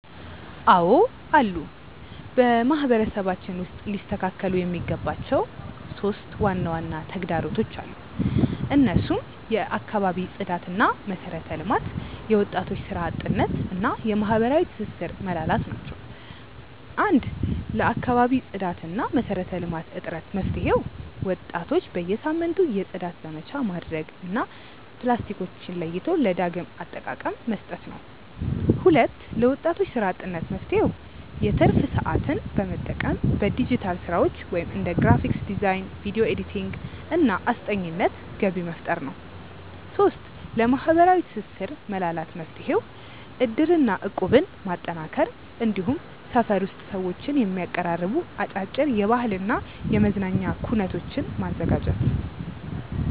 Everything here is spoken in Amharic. አዎ አሉ። በማህበረሰባችን ውስጥ ሊስተካከሉ የሚገባቸው 3 ዋና ዋና ተግዳሮቶች አሉ። እነሱም የአካባቢ ጽዳትና መሰረተ ልማት፣ የወጣቶች ስራ አጥነት እና የማህበራዊ ትስስር መላላት ናቸው። 1. ለአካባቢ ጽዳትና መሰረተ ልማት እጥረት መፍትሄው፦ ወጣቶች በየሳምንቱ የጽዳት ዘመቻ ማድረግ እና ፕላስቲኮችን ለይቶ ለዳግም አጠቃቀ መስጠት ነው። 2. ለወጣቶች ስራ አጥነት መፍትሄው፦ የትርፍ ሰዓትን በመጠቀም በዲጂታል ስራዎች (እንደ ግራፊክ ዲዛይን፣ ቪዲዮ ኤዲቲንግ) እና አስጠኚነት ገቢ መፍጠር ነው። 3. ለማህበራዊ ትስስር መላላት መፍትሄው፦ እድርና እቁብን ማጠናከር፣ እንዲሁም ሰፈር ውስጥ ሰዎችን የሚያቀራርቡ አጫጭር የባህልና የመዝናኛ ኩነቶችን ማዘጋጀት።